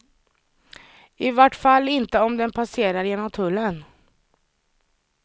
I vart fall inte om den passerar genom tullen.